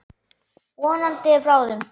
Vonandi bráðum.